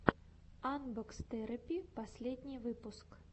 анбокс терэпи последний выпуск